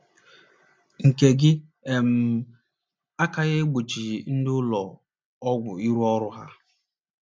nke gị um aka n’egbochighị ndị ụlọ ọgwụ ịrụ ọrụ ha